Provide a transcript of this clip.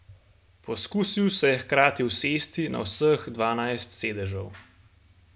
Poskusil se je hkrati usesti na vseh dvanajst sedežev.